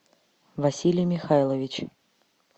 василий михайлович